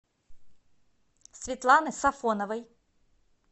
светланы сафоновой